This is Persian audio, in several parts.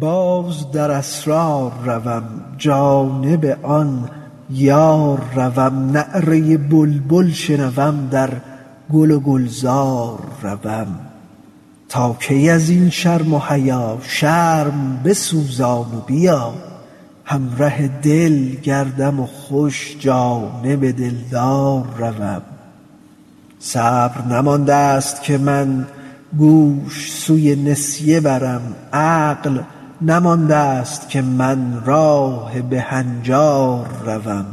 باز در اسرار روم جانب آن یار روم نعره بلبل شنوم در گل و گلزار روم تا کی از این شرم و حیا شرم بسوزان و بیا همره دل گردم خوش جانب دلدار روم صبر نمانده ست که من گوش سوی نسیه برم عقل نمانده ست که من راه به هنجار روم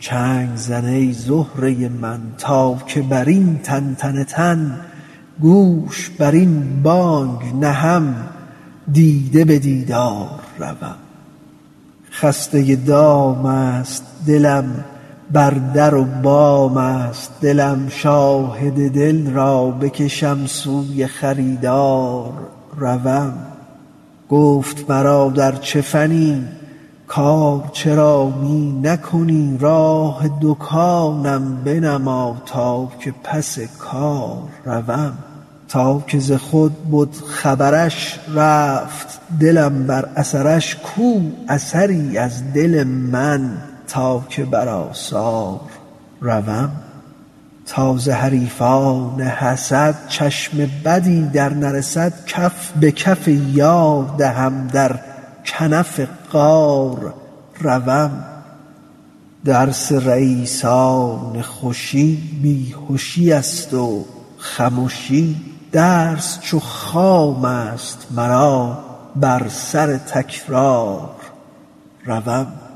چنگ زن ای زهره من تا که بر این تنتن تن گوش بر این بانگ نهم دیده به دیدار روم خسته دام است دلم بر در و بام است دلم شاهد دل را بکشم سوی خریدار روم گفت مرا در چه فنی کار چرا می نکنی راه دکانم بنما تا که پس کار روم تا که ز خود بد خبرش رفت دلم بر اثرش کو اثری از دل من تا که بر آثار روم تا ز حریفان حسد چشم بدی درنرسد کف به کف یار دهم در کنف غار روم درس رییسان خوشی بی هشی است و خمشی درس چو خام است مرا بر سر تکرار روم